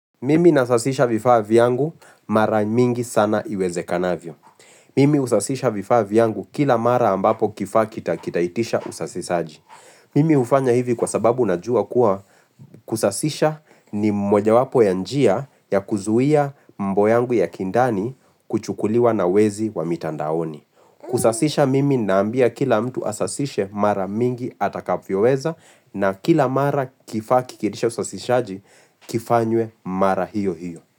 Mimi nasasisha vifaa vyangu mara mingi sana iwezekanavyo. Mimi usasisha vifaa vyangu kila mara ambapo kifaa kitaitisha usasisaji. Mimi hufanya hivi kwa sababu najua kuwa kusasisha ni mojawapo ya njia ya kuzuia mambo yangu ya kindani kuchukuliwa na wezi wa mitandaoni. Kusasisha mimi naambia kila mtu asasishe mara mingi atakavyoweza na kila mara kifaa kikiitisha usasishaji kifanywe mara hiyo hiyo.